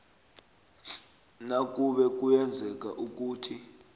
nakube kuyenzeka ukuthi